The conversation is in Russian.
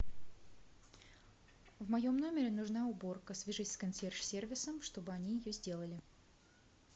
в моем номере нужна уборка свяжись с консьерж сервисом чтобы они ее сделали